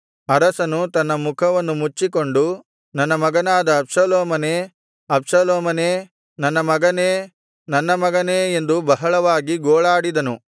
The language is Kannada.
ಅರಸನು ತನ್ನ ಮುಖವನ್ನು ಮುಚ್ಚಿಕೊಂಡು ನನ್ನ ಮಗನಾದ ಅಬ್ಷಾಲೋಮನೇ ಅಬ್ಷಾಲೋಮನೇ ನನ್ನ ಮಗನೇ ನನ್ನ ಮಗನೇ ಎಂದು ಬಹಳವಾಗಿ ಗೋಳಾಡಿದನು